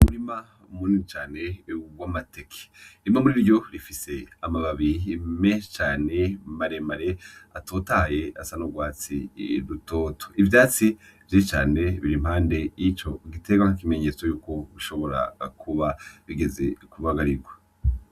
Umurima munini cane w'amateke. Bimwe murivyo bifise amababi menshi cane maremare atotahaye asa n'urwatsi rutoto. Ivyatsi vyinshi cane biri impande y'ico giterwa nk'ikimenyetso yuko bishobora kuba bigeze kubagarirwa.